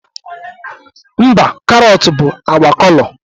Mba, karọt bụ agba kolu